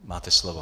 Máte slovo.